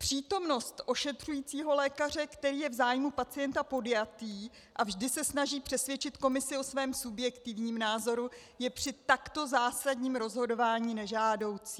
Přítomnost ošetřujícího lékaře, který je v zájmu pacienta podjatý a vždy se snaží přesvědčit komisi o svém subjektivním názoru, je při takto zásadním rozhodování nežádoucí.